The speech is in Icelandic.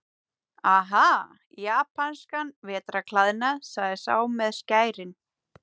Aha, japanskan vetrarklæðnað, sagði sá með skærin.